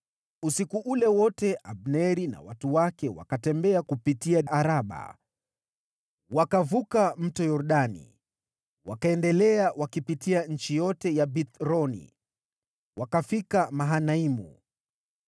Usiku ule wote Abneri na watu wake wakatembea kupitia Araba. Wakavuka Mto Yordani, wakaendelea wakipitia nchi yote ya Bithroni wakafika Mahanaimu.